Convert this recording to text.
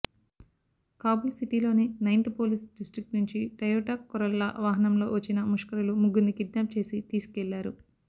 కాబూల్ సిటీలోని ninth police district నుంచి Toyota Corolla వాహనంలో వచ్చిన ముష్కరులు ముగ్గుర్నీ కిడ్నాప్ చేసి తీసుకెళ్లారు